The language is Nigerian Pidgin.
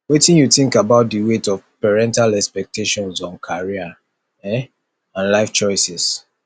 wetin you think about di weight of parental expectations on career um and life choices